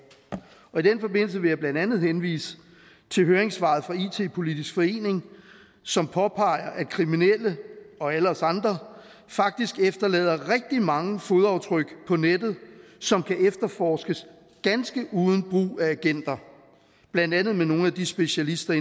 og i den forbindelse vil jeg blandt andet henvise til høringssvaret fra it politisk forening som påpeger at kriminelle og alle os andre faktisk efterlader rigtig mange fodaftryk på nettet som kan efterforskes ganske uden brug af agenter blandt andet af nogle af de specialister